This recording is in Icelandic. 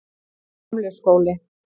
Gamli skóli